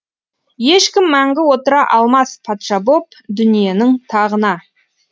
ешкім мәңгі отыра алмас патша боп дүниенің тағына